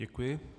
Děkuji.